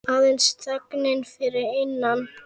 Aðeins þögnin fyrir innan.